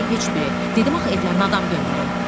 Dedim axı evlərinə adam göndərin.